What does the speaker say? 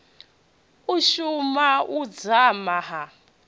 u suma u dzama ha